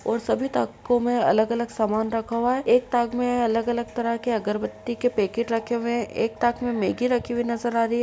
सभी तको में अलग अलग सामान रखा हुआ है। एक ताक में अलग अलग तरह के अगरबत्ती के पैकेट रखे हुए हैं। एक ताक में मेग्गी रखी हुई नज़र आ रही है।